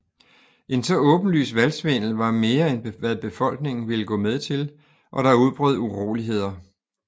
En så åbenlys valgsvindel var mere end hvad befolkningen ville gå med til og der udbrød uroligheder